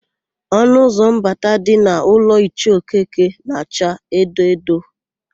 Ọnụụzọ mbata dị n'ụlọ Ichie Okeke na-acha edo edo.